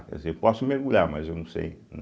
Quer dizer, eu posso mergulhar, mas eu não sei.